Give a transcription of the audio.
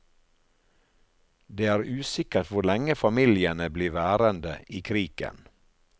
Det er usikkert hvor lenge familiene blir værende i kriken.